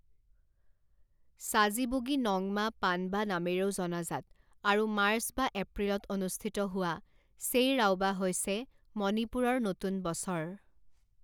চাজিবুগি নংমা পানবা নামেৰেও জনাজাত আৰু মাৰ্চ বা এপ্ৰিলত অনুষ্ঠিত হোৱা চেইৰাওবা হৈছে মণিপুৰৰ নতুন বছৰ।